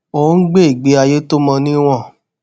ó ń gbé ìgbé ayé to mo ni won